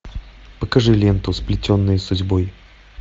покажи ленту сплетенные судьбой